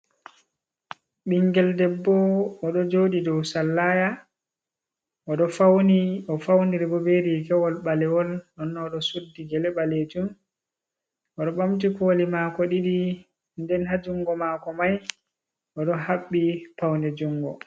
Ɓingel ɗeɓɓo oɗo jooɗi ɗou sallaya. Oɗo fauni, ofauniri ɓo ɓe rigawol ɓalewol. ɗonno oɗo suɗɗi gele ɓalejum, oɗo ɓamti koli mako ɗiɗi. Nɗen ha jungo mako mai, oɗo haɓɓi paunne jungo.